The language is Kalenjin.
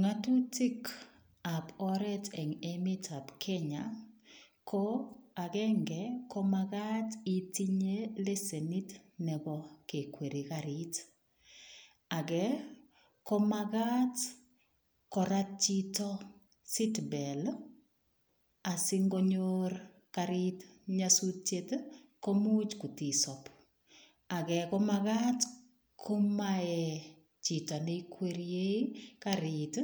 Ng'otutikab oreet en emetab Kenya ko akeng'e ko makat itinye leshenit nebo kekwere karit, akee ko makat korat chito seat belt asing'onyor karit nyosutiet komuch kot isob, akee ko makat komayee chito neikweriei karit